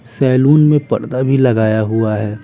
Salon में पर्दा भी लगाया हुआ है।